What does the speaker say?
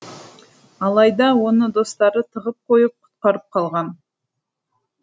алайда оны достары тығып қойып құтқарып қалған